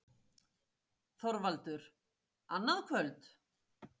ÞORVALDUR: Annað kvöld?